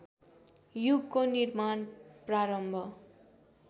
युगको निर्माण प्रारम्भ